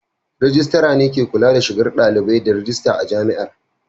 Rejistira ne ke kula da shigar da dalibai da rajista a Jami'ar.